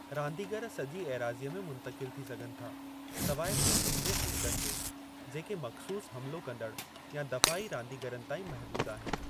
रांदीगरु सॼी एराज़ीअ में मुंतक़िल थी सघनि था सवाइ शूटिंग जे हलक़नि जे, जेके मख़्सूसु हमिलो कंदड़ या दफ़ाई रांदीगरनि ताईं महिदूदु आहिनि।